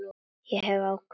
Ég hef ákveðið það.